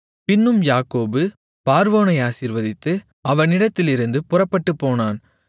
பின்னும் யாக்கோபு பார்வோனை ஆசீர்வதித்து அவனிடத்திலிருந்து புறப்பட்டுப்போனான்